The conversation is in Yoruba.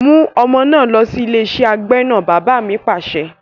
"mú ọmọ náà lọ sí ilé iṣẹ́ agbẹ́nà! Bàbá mi Pàṣẹ.